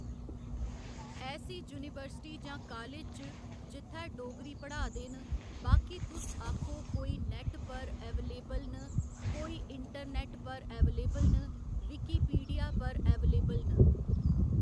ऐसी university जां college च जित्थै डोगरी पढ़ा दे न बाकि तुस आक्खो कोई नेट पर एवेलएबल न कोई इंटरनेट पर एवेलबल न विकीपीडिया पर एवलबल न